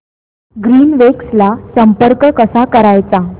Greenwaves ला संपर्क कसा करायचा